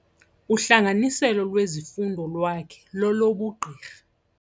Uhlanganiselo lwezifundo lwakhe lolobugqirha.